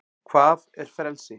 hvað er frelsi